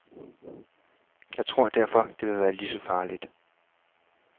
Jeg tror derfor, at det vil være lige så farligt .